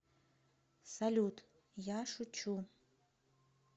салют я шучу